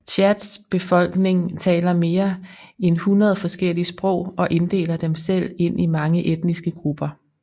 Tchads befolkning taler mere end 100 forskellige sprog og inddeler dem selv ind i mange etniske grupper